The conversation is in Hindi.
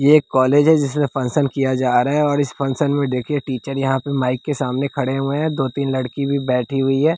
यह एक कॉलेज है जिसमें फंक्शन किया जा रहा है और इस फंक्शन में देखिए टीचर यहाँ पर माइक के सामने खड़े हुए हैं दो-तीन लड़की भी बैठी हुई हैं।